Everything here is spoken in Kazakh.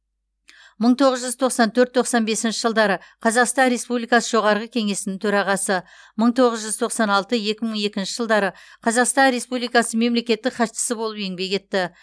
мың тоғыз жүз тоқсан төрт тоқсан бесінші жылдары қазақстан республикасы жоғарғы кеңесінің төрағасы мың тоғыз жүз тоқсан алты екі мың екінші жылдары қазақстан республикасы мемлекеттік хатшысы болып еңбек етті